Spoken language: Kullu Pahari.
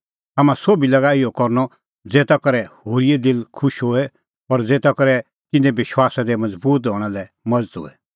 हाम्हां सोभी लागा इहअ करनअ ज़ेता करै होरीए दिल खुश होए और ज़ेता करै तिन्नें विश्वासा दी मज़बूत हणां लै मज़त होए